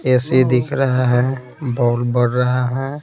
AC दिख रहा है बॉल बढ़ रहा है।